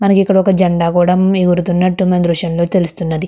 మనకి ఇక్కడ ఒక జెండా కూడా ఎగురుతున్నట్టు మీ దృశ్యంలో తెలుస్తున్నది.